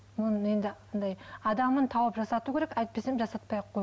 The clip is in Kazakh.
адамын тауып жасату керек әйтпесе жасатпай ақ қой